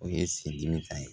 O ye sen dimi ta ye